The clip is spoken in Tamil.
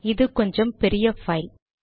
இது கொஞ்சம் பெரிய பைல்